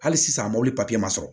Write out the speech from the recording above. Hali sisan mɔbili ma sɔrɔ